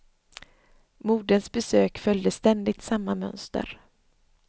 Moderns besök följde ständigt samma mönster.